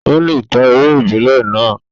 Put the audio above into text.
Ó lè ta eré ìbílẹ̀ náà.